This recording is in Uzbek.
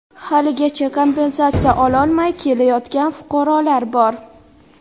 haligacha kompensatsiya ololmay kelayotgan fuqarolar bor.